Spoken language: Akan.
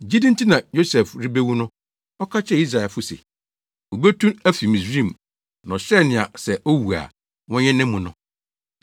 Gyidi nti na Yosef rebewu no, ɔka kyerɛɛ Israelfo se, wobetu afi Misraim, na ɔhyɛɛ nea sɛ owu a, wɔnyɛ nʼamu no.